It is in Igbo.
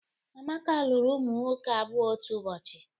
Amaka lụrụ ụmụ nwoke abụọ otu ụbọchị